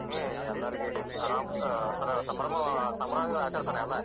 ಹ್ಮ್‌ ಎಲ್ಲಾರಗೂ ಅರಾಮ್ ಆ ಸಂಭ್ರಮ ಸಂಭ್ರಮದಿಂದ ಆಚರಿಸೋಣ ಎಲ್ಲ.